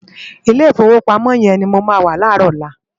Ilé Ifówópámò yèn ni mó má wá láròlá